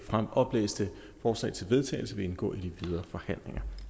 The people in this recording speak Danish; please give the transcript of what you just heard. oplæste forslag til vedtagelse vil indgå i de videre forhandlinger